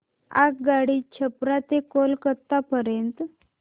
आगगाडी छपरा ते कोलकता पर्यंत